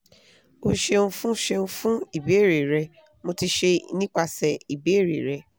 o ṣeun fun ṣeun fun ibeere rẹ mo ti ṣe nipasẹ ibeere rẹ